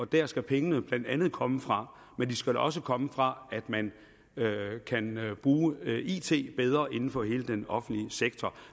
der skal pengene blandt andet komme fra men de skal også komme fra at man bruger it bedre inden for hele den offentlige sektor